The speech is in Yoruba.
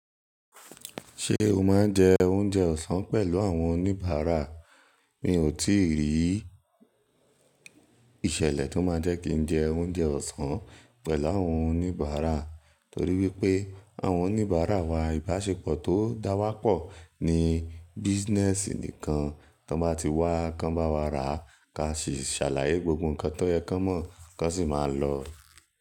Ṣé o máa ń jẹ oúnjẹ ọ̀sán pẹ̀lú àwọn oníbàárà? Mi ò tíì rí ìṣẹ̀lẹ̀ tó máa jẹ́ kí n jẹ oúnjẹ ọ̀sán pẹ̀lú àwọn oníbàárà, torí wípé àwọn oníbàárà wa ìbáṣepọ̀ tó dáwọ́pọ̀ ní business nìkan. Tí wọ́n bá ti wá, kan bá wá rà, ka sì ṣàlàyé gbogbo ǹkan tó yẹ kí wọ́n mọ̀, kan sì máa lọ.